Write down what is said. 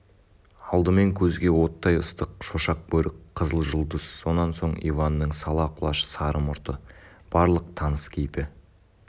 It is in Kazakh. алдымен көзге оттай ыстық шошақ бөрік қызыл жұлдыз сонан соң иванның сала құлаш сары мұрты барлық таныс кейпі